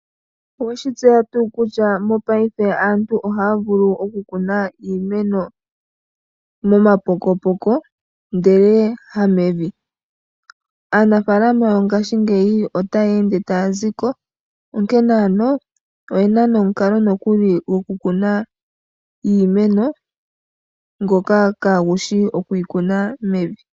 Oweshi tseya tuu kutya mopayife kutya aantu ohaavulu okukuna iimeno mo mapokopoko ndele hamevi ,aanafaalama yongaashingeyi ota yeende tayaziko, onkene oyena omukalo nokuli gokukuna iimeno ngoka kaagushi okuyikuna mevi.